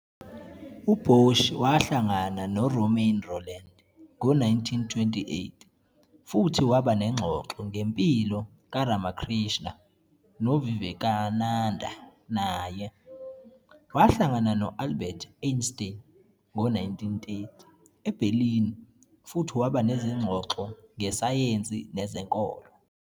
U-Boshi wahlangana no- Romain Rolland ngo-1928 futhi waba nengxoxo ngempilo kaRamakrishna noVivekananda naye. Wahlangana no- Albert Einstein ngo-1930 eBerlin futhi waba nezingxoxo ngeSayensi Nezenkolo.